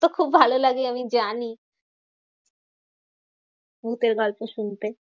তোর খুব ভালো লাগে আমি জানি, ভুতের গল্প শুনতে।